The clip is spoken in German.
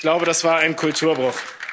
Ich glaube, das war ein Kulturbruch.